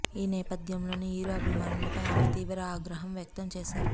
ఈ నేపథ్యంలోనే హీరో అభిమానులపై ఆమె తీవ్ర ఆగ్రహం వ్యక్తం చేశారు